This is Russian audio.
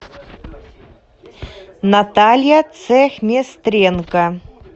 наталья цехместренко